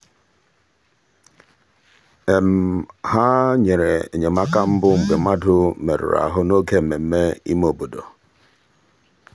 ha nyere enyemaka mbụ mgbe mmadụ merụrụ ahu n'oge mmemme ime obodo.